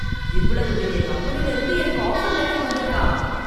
இவ்வளவு பெரிய கம்பெனில இருந்து எனக்கு ஆஃபர் லெட்டர் வந்திருக்கா!